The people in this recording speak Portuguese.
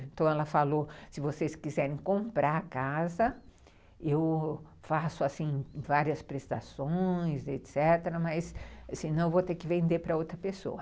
Então ela falou, se vocês quiserem comprar a casa, eu faço várias assim, prestações, etecetera., mas senão vou ter que vender para outra pessoa.